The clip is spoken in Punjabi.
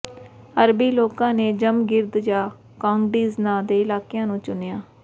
ਅਰਬੀ ਲੋਕਾਂ ਨੇ ਜਮਗਿਰਦ ਜਾਂ ਕਾਂਗਡੀਜ਼ ਨਾਂ ਦੇ ਇਲਾਕਾ ਨੂੰ ਚੁਣਿਆ